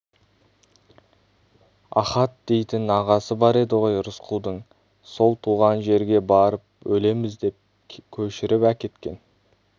ахат дейтін ағасы бар еді ғой рысқұлдың сол туған жерге барып өлеміз деп көшіріп әкеткен